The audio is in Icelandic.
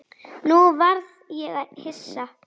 Nú varð ég hissa.